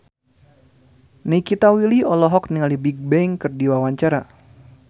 Nikita Willy olohok ningali Bigbang keur diwawancara